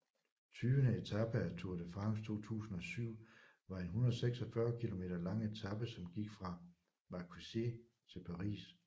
Tyvende etape af Tour de France 2007 var en 146 km lang etape som gik fra Marcoussis til Paris